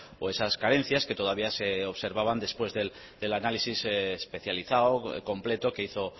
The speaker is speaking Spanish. o esas carencias que todavía se observaban después del análisis especializado completo que hizo